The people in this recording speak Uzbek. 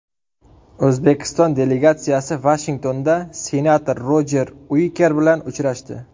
O‘zbekiston delegatsiyasi Vashingtonda senator Rojer Uiker bilan uchrashdi.